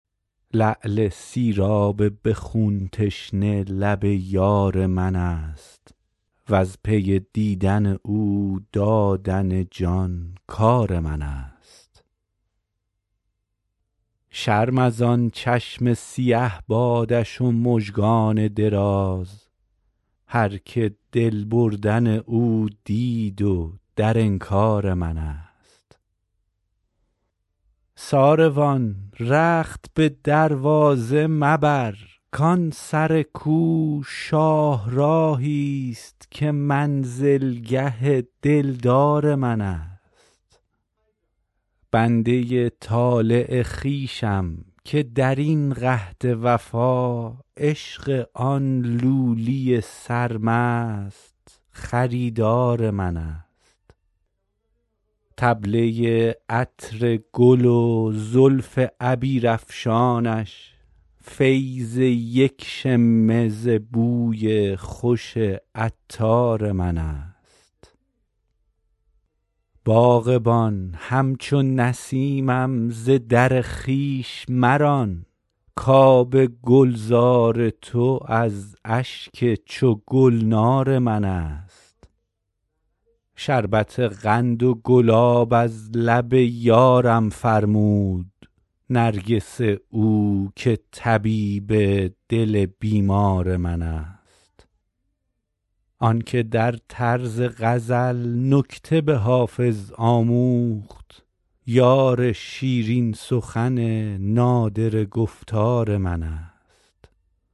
لعل سیراب به خون تشنه لب یار من است وز پی دیدن او دادن جان کار من است شرم از آن چشم سیه بادش و مژگان دراز هرکه دل بردن او دید و در انکار من است ساروان رخت به دروازه مبر کان سر کو شاهراهی ست که منزلگه دلدار من است بنده ی طالع خویشم که در این قحط وفا عشق آن لولی سرمست خریدار من است طبله ی عطر گل و زلف عبیرافشانش فیض یک شمه ز بوی خوش عطار من است باغبان همچو نسیمم ز در خویش مران کآب گلزار تو از اشک چو گلنار من است شربت قند و گلاب از لب یارم فرمود نرگس او که طبیب دل بیمار من است آن که در طرز غزل نکته به حافظ آموخت یار شیرین سخن نادره گفتار من است